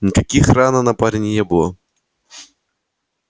никаких ран на парне не было